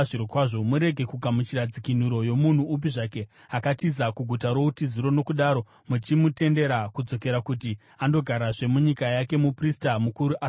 “ ‘Murege kugamuchira dzikinuro yomunhu upi zvake akatiza kuguta routiziro nokudaro muchimutendera kudzokera kuti andogarazve munyika yake muprista mukuru asati afa.